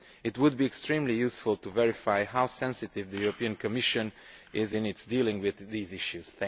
It would be extremely useful to verify how sensitive the Commission is in its dealings with these issues.